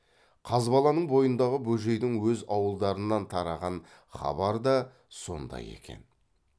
қазбаланың бойындағы бөжейдің өз ауылдарынан тараған хабар да сондай екен